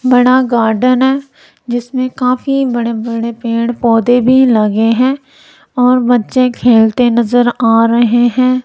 बड़ा गार्डन हैं जिसमें काफी बड़े बड़े पेड़ पौधे भीं लगे हैं और बच्चे खेलते नजर आ रहें हैं।